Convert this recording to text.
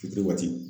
Fitiri waati